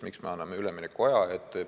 Miks me anname üleminekuaja?